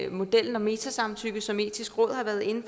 modellen om metasamtykke som det etiske råd har været inde